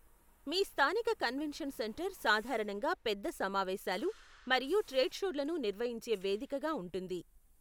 మీ స్థానిక convention centre సాధారణంగా పెద్ద సమావేశాలు మరియు ట్రేడ్షోలను నిర్వహించే వేదికగా ఉంటుంది.